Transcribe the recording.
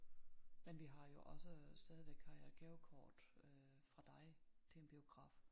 Men vi har jo også stadigvæk har jeg et gavekort øh fra dig til en biograf